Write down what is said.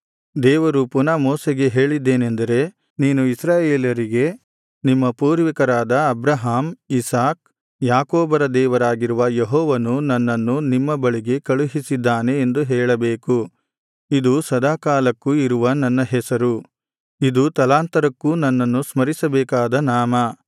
ದೇವರು ಪುನಃ ಮೋಶೆಗೆ ಹೇಳಿದ್ದೇನೆಂದರೆ ನೀನು ಇಸ್ರಾಯೇಲರಿಗೆ ನಿಮ್ಮ ಪೂರ್ವಿಕರಾದ ಅಬ್ರಹಾಮ್ ಇಸಾಕ್ ಯಾಕೋಬರ ದೇವರಾಗಿರುವ ಯೆಹೋವನು ನನ್ನನ್ನು ನಿಮ್ಮ ಬಳಿಗೆ ಕಳುಹಿಸಿದ್ದಾನೆ ಎಂದು ಹೇಳಬೇಕು ಇದು ಸದಾಕಾಲಕ್ಕೂ ಇರುವ ನನ್ನ ಹೆಸರು ಇದು ತಲಾಂತರಕ್ಕೂ ನನ್ನನ್ನು ಸ್ಮರಿಸಬೇಕಾದ ನಾಮ